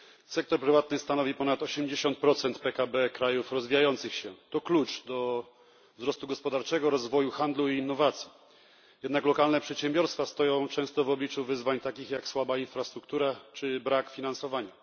Sektor prywatny stanowi ponad 80 PKB krajów rozwijających się. To klucz do wzrostu gospodarczego, rozwoju handlu i innowacji. Jednak lokalne przedsiębiorstwa stoją często w obliczu wyzwań takich jak słaba infrastruktura czy brak finansowania.